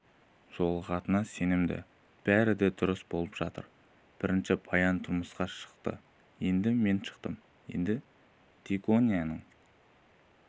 жолығатынына сенімді бәрі дұрыс болып жатыр бірінші баян тұрмысқа шықты енді мен шықтым енді диконияның